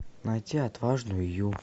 найти отважную